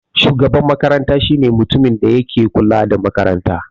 Shugaban makaranta shine mutumin da yake kula da makaranta.